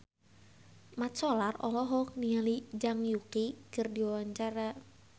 Mat Solar olohok ningali Zhang Yuqi keur diwawancara